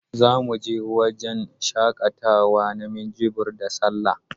Za mu je wajan shaƙatawa na Minjibir da Sallah